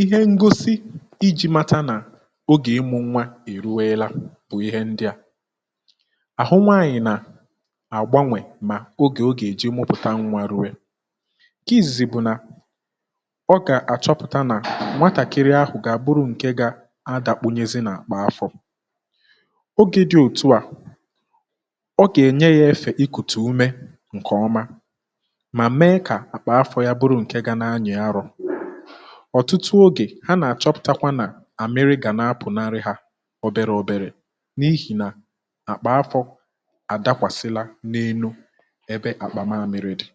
Ihe ngosi iji̇ mata nà ogè ịmụ̇ nwa e ruweela bụ̀ ihe ndị à: àhụ nwanyị̀ nà àgbanwè mà ogè o gà-èji mmụpụ̀ta nwa rùwe. Nkè izìzì bụ̀ nà, ọ gà-àchọpụ̀ta nà nwatàkịrị ahụ̀ gà-àbụrụ nke gà-adà kpunyezi n’àkpọ afọ.̀ Ogė dị̇ òtù à, ọ gà-ènye yȧ efè ikùtù ume ǹkè ọma ma mee kà akpa afo yà bụrụ nkè gà na-àyi ȧrọ. ọ̀tụtụ ogè ha nà-àchọpụ̀takwa nà àmịrị gà na-apụ̀ narị hȧ obere obere n’ihi̇ nà àkpà afọ̇ àdakwàsila n’enu ebe àkpà mami̇ri̇ dị.̀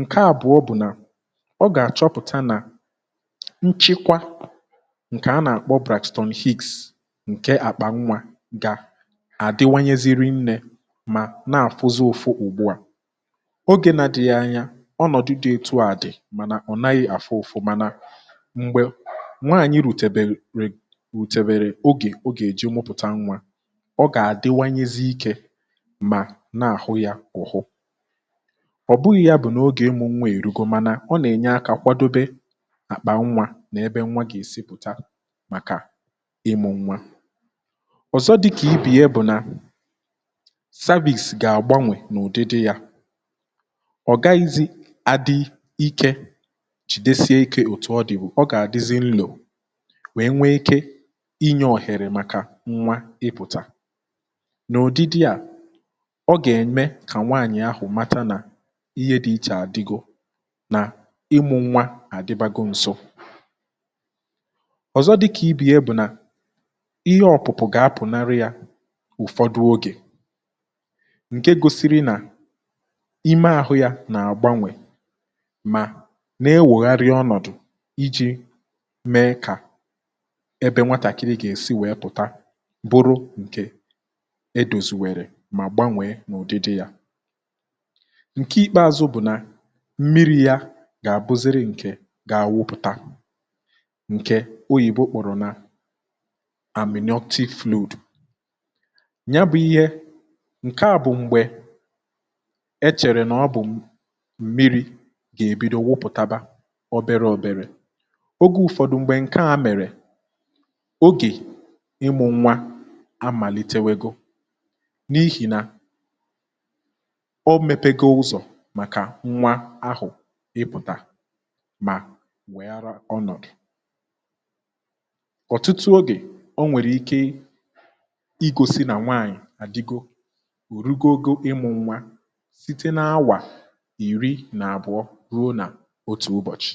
Nkè àbụọ bụ̀ nà, ọ gà-àchọpụ̀ta nà nchịkwa ǹkè a nà-àkpọ Brakton hicks ǹkè àkpà nwȧ, gà àdịwanyezi ri nnė ma na-àfụzi ụfụ ùgbùà, ogė nà-adighi ànyà, onọdi di ọtụ a di, mànà ọ̀ naghị̇ àfụ ụ̀fụ̀, mànà m̀gbè nwaànyị rùtèbèrè re rùtèbèrè ogè o gà-èji ụmụ̇pụ̀ta nwȧ ọ gà-àdị wayezie ikė, mà na-àhụ yȧ ọ̀hụ. ọ̀ bụghị̇ yȧ bụ̀ nà ogè ịmụ̇ nwa èrugo, mànà ọ nà-ènye akȧ kwadobe àkpà nwȧ nà ebe nwa gà-èsi pụ̀ta màkà ịmụ̇ nwa. ọ̀zọ dịkà ibe ya bụ̀ nà, Cervix gà-àgbanwè n’ụdịdị yȧ, ọ̀ gaghị̇zị̇ adi ikė chìdesie ikė òtù ọ dị̀ bụ,̀ ọ gà-àdịzi nlò wèe nwee ike inye ọhèrè màkà nwa ịpụ̀tà, n’ụdịdị à, ọ gà-ème kà nwaànyị̀ ahụ̀ mata nà ihe dị ichè àdigo nà ịmụ̇ nwa àdịbago ǹso. ọ̀zọ dịkà ibe ya bụ̀ nà ihe, ọ̀pụ̀pụ̀ gà-apụ̀ narị̇ yȧ ụ̀fọdụ ogè, nke gosiri nà ime ȧhụ̇ ya nà àgbanwè mà na-ewègharị ọnọ̀dụ̀ iji̇ mee kà ebe nwatàkiri gà-èsi wèe pụ̀ta bụrụ ǹkè edòzi wèrè mà gbanwèe n’ụ̀dịdị yȧ. Nkè ikpeazụ bụ̀ nà, mmiri ya gà-àbụziri ǹkè gà-àwụpụ̀ta, ǹke oyìbo kpọ̀rọ̀ nà amyontic fluidù. Ya bụ̇ ihe, ǹke à bụ̀ m̀gbè, e chèrè nà ọ bụ̀ m̀miri gà-ebido nwuputaba obere òbèrè. Oge ụ̀fọdụ mgbè ǹke ȧ mèrè, ogè ịmụ̇ nwa amàlitewego, n’ihì nà o mepege ụzọ̀ màkà nwa ahụ̀ ịpụ̀tà mà nwèe ara ọnọ̀dụ.̀ ọ̀tụtụ ogè ọ nwèrè ike igosi nà nwaanyị̀ àdigo, òrugo ogo ịmụ̇ nwa, site na awà iri nà àbụọ̀ rùo nà otu ụbọ̀chị.̀